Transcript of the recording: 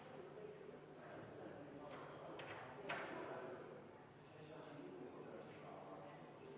Muudatusettepaneku nr 36 on esitanud Martin Helme, Arvo Aller ja Rain Epler.